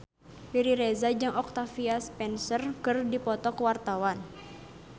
Riri Reza jeung Octavia Spencer keur dipoto ku wartawan